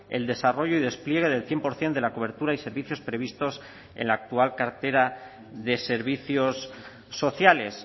el desarrollo y despliegue del cien por ciento de la cobertura y servicios previstos en la actual cartera de servicios sociales